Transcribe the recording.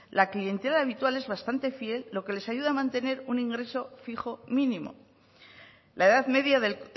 la cliente habitual es bastante fiel lo que les ayuda a mantener un ingreso fijo mínimo la edad media del